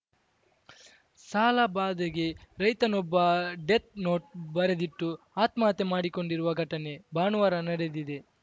ಸಾಲ ಬಾಧೆಗೆ ರೈತನೊಬ್ಬ ಡೆತ್‌ನೋಟ್‌ ಬರೆದಿಟ್ಟು ಆತ್ಮಹತ್ಯೆ ಮಾಡಿಕೊಂಡಿರುವ ಘಟನೆ ಭಾನುವಾರ ನಡೆದಿದೆ